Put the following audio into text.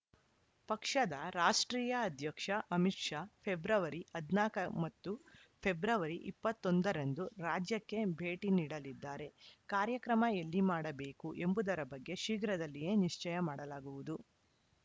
ಪಕ್ಷದ ರಾಷ್ಟ್ರೀಯ ಅಧ್ಯಕ್ಷ ಅಮಿತ್‌ ಶಾ ಫೆಬ್ರವರಿ ಹದಿನಾಲ್ಕು ಮತ್ತು ಫೆಬ್ರವರಿ ಇಪ್ಪತ್ತ್ ಒಂದ ರಂದು ರಾಜ್ಯಕ್ಕೆ ಭೇಟಿ ನೀಡಲಿದ್ದಾರೆ ಕಾರ್ಯಕ್ರಮ ಎಲ್ಲಿ ಮಾಡಬೇಕು ಎಂಬುದರ ಬಗ್ಗೆ ಶೀಘ್ರದಲ್ಲಿಯೇ ನಿಶ್ಚಯ ಮಾಡಲಾಗುವುದು